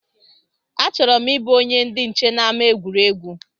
A chọrọ m ịbụ onye ndị nche n’ama egwuregwu